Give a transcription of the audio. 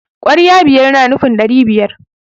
kwarya biyar na nufin dari biyar